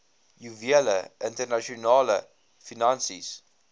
juwele internasionale finansies